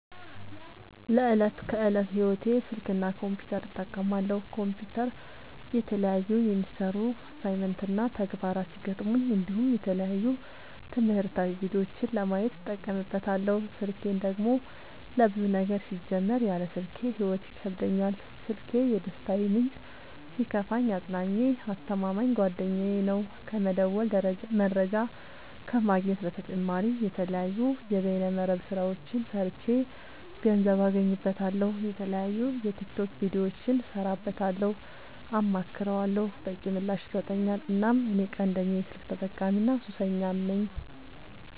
ለዕት ከዕለት ህይወቴ ስልክ እና ኮምፒውተር እጠቀማለሁ። ኮምፒውተር የተለያዩ የሚሰሩ አሳይመንት እና ተግባራት ሲገጥሙኝ እንዲሁም የተለያዩ ትምህርታዊ ቪዲዮዎችን ለማየት እጠቀምበታለው። ስልኬን ደግሞ ለብዙ ነገር ሲጀመር ያለ ስልኬ ህይወት ይከብደኛል። ስልኪ የደስታዬ ምንጭ ሲከፋኝ አፅናኜ አስተማማኝ ጓደኛዬ ነው። ከመደወል መረጃ ከመግኘት በተጨማሪ የተለያዩ የበይነ መረብ ስራዎችን ሰርቼ ገንዘብ አገኝበታለሁ። የተለያዩ የቲክቶክ ቪዲዮዎችን እሰራበታለሁ አማክረዋለሁ። በቂ ምላሽ ይሰጠኛል እናም እኔ ቀንደኛ የስልክ ተጠቀሚና ሱሰኛም ነኝ።